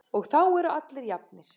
Og þá eru allir jafnir.